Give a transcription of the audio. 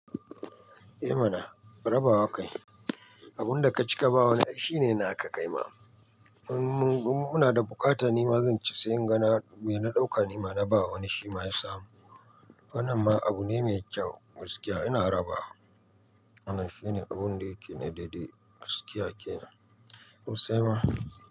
Eh mana, raba wa kai. Abun da ka cika ba wa wani, ai shine na ka kaima. Mun, mun, muna da buƙata nima zan ci, sai in ga na, me na ɗauka nima na ba wani shi ma ya samu. Wannan ma abu ne mai kyau, gaskiya ina raba. Wannan shine abun da yake na daidai, gaskiya kenan. Sosaima.